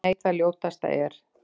Nei, það ljótasta er.